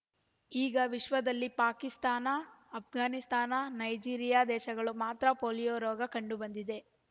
ಈಗ ವಿಶ್ವದಲ್ಲಿ ಪಾಕಿಸ್ತಾನ ಅಫ್‍ಘಾನಿಸ್ತಾನ ನೈಜೀರಿಯಾ ದೇಶಗಳು ಮಾತ್ರ ಪೋಲಿಯೋ ರೋಗ ಕಂಡು ಬಂದಿದೆ